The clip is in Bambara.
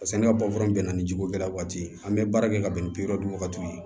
Paseke ale ka bɛ na ni jikokɛla waati ye an bɛ baara kɛ ka bɛn ni bi wɔɔrɔ de ye wagati ye